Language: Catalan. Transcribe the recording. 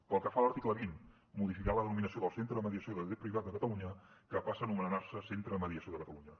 pel que fa a l’article vint modificar la denominació del centre de mediació de dret privat de catalunya que passa a anomenar se centre de mediació de catalunya